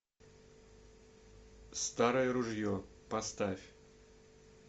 старое ружье поставь